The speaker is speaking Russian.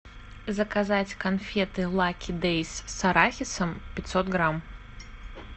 заказать конфеты лаки дейз с арахисом пятьсот грамм